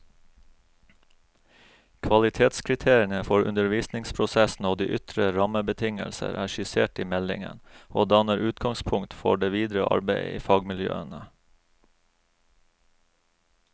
Kvalitetskriteriene for undervisningsprosessen og de ytre rammebetingelser er skissert i meldingen, og danner utgangspunkt for det videre arbeidet i fagmiljøene.